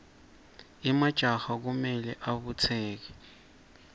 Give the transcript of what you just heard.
emajaha kumele abutseke